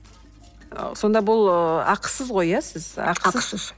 ы сонда бұл ақысыз ғой иә сіз ақысыз